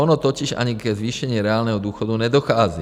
Ono totiž ani ke zvýšení reálného důchodu nedochází.